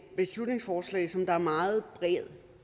beslutningsforslag som der er meget bred